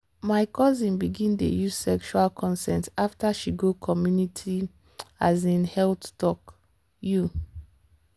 my cousin begin dey use sexual consent after she go community um health talk. you